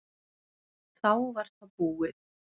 Þá var það búið.